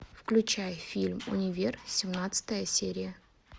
включай фильм универ семнадцатая серия